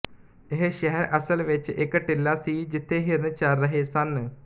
ਇਹ ਸ਼ਹਿਰ ਅਸਲ ਵਿੱਚ ਇੱਕ ਟਿੱਲਾ ਸੀ ਜਿਥੇ ਹਿਰਨ ਚਰ ਰਹੇ ਸਨ